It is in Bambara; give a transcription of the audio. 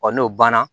n'o banna